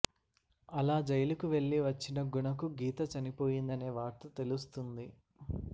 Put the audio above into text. ఆలా జైలు కు వెళ్లి వచ్చిన గుణ కు గీత చనిపోయిందనే వార్త తెలుస్తుంది